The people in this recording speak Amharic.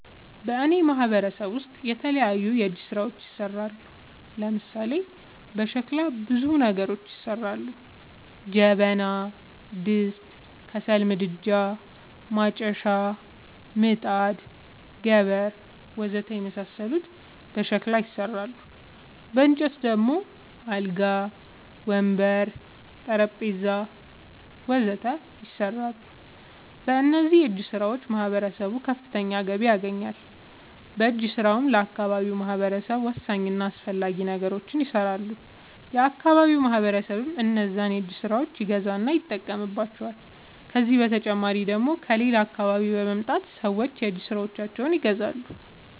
በእኔ ማህበረሰብ ውስጥ የተለያዩ የእጅ ስራዎች ይሠራሉ። ለምሳሌ፦ በሸክላ ብዙ ነገሮች ይሠራሉ። ጀበና፣ ድስት፣ ከሰል ምድጃ፣ ማጨሻ፣ ምጣድ፣ ገበር... ወዘተ የመሣሠሉት በሸክላ ይሠራሉ። በእንጨት ደግሞ አልጋ፣ ወንበር፣ ጠረንጴዛ..... ወዘተ ይሠራሉ። በእነዚህም የእጅስራዎች ማህበረሰቡ ከፍተኛ ገቢ ያገኛል። በእጅ ስራውም ለአካባቢው ማህበረሰብ ወሳኝ እና አስፈላጊ ነገሮች ይሠራሉ። የአካባቢው ማህበረሰብም እነዛን የእጅ ስራዎች ይገዛና ይጠቀምባቸዋል። ከዚህ በተጨማሪ ደግሞ ከሌላ አካባቢ በመምጣት ሠዎች የእጅ ስራዎቸችን ይገዛሉ።